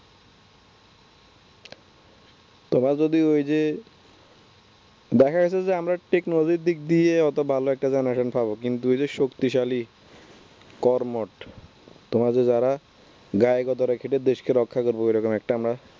তোমার জন্য ওই যে দেখা যাচ্ছে যে আমরা technology দিক দিয়ে অত ভালো একটা genaration পাব, কিন্তু ওই যে শক্তিশালী কর্মঠ তোমরা যে যারা গায়ে গতরে খেটে দেশকে রক্ষা করবে ওরকম আমরা একটা